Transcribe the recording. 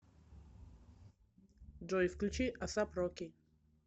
джой включи асап роки